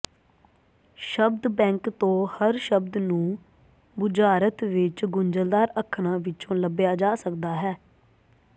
ਸ਼ਬਦ ਬੈਂਕ ਤੋਂ ਹਰ ਸ਼ਬਦ ਨੂੰ ਬੁਝਾਰਤ ਵਿੱਚ ਗੁੰਝਲਦਾਰ ਅੱਖਰਾਂ ਵਿੱਚੋਂ ਲੱਭਿਆ ਜਾ ਸਕਦਾ ਹੈ